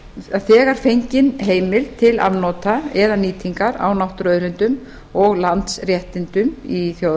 að þegar fengin heimild til afnota eða nýtingar á náttúruauðlindum og landsréttindum í þjóðareign